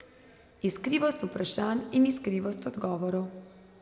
Iskrivost vprašanj in iskrivost odgovorov.